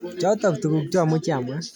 Choto tuguk cha muchi amwa.